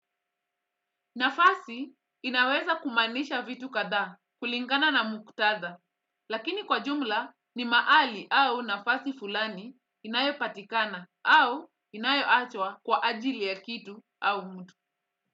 Nafasi inaweza kumaanisha vitu kadhaa kulingana na muktadha, lakini kwa jumla ni mahali au nafasi fulani inayo patikana au inayo achwa kwa ajili ya kitu au mtu.